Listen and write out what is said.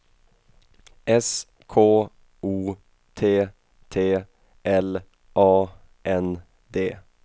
S K O T T L A N D